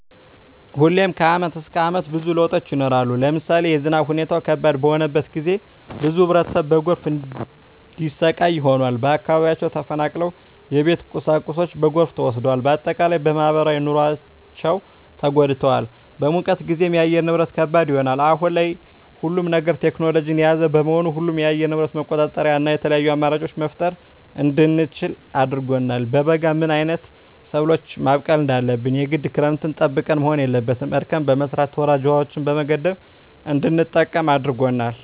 ሁሌም ከአመት እስከ አመት ብዙ ለውጦች ይኖራሉ። ለምሳሌ የዝናብ ሁኔታው ከባድ በሆነበት ጊዜ ብዙ ህብረተሰብ በጎርፍ እንዲሰቃይ ሆኗል። ከአካባቢያቸው ተፈናቅለዋል የቤት ቁሳቁሳቸው በጎርፍ ተወስዷል። በአጠቃላይ በማህበራዊ ኑሯቸው ተጎድተዋል። በሙቀት ጊዜም የአየር ንብረት ከባድ ይሆናል። አሁን ላይ ሁሉም ነገር ቴክኖሎጅን የያዘ በመሆኑ ሁሉንም የአየር ንብረት መቆጣጠር እና የተለያዪ አማራጮች መፍጠር እንድንችል አድርጎናል። በበጋ ምን አይነት ሰብሎችን ማብቀል እንዳለብን የግድ ክረምትን ጠብቀን መሆን የለበትም እርከን በመስራት ወራጅ ውሀዎችን በመገደብ እንድንጠቀም አድርጎናል።